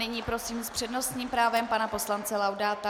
Nyní prosím s přednostním právem pana poslance Laudáta.